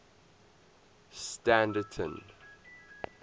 standerton